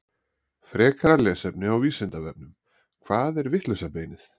Frekara lesefni á Vísindavefnum: Hvað er vitlausa beinið?